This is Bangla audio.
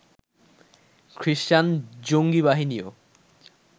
খ্রিষ্টান জঙ্গি বাহিনীও